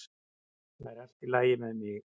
Það er allt í lagi með mig